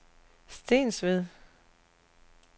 Stensved